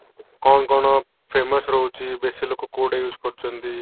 କଣ କଣ famous ରହୁଚି ବେଶି ଲୋକ କୋଉଟା use କରୁଚନ୍ତି